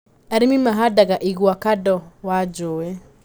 Arĩmi mahandaga igwa kando wa njũĩ.